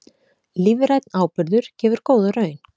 Lífrænn áburður gefur góða raun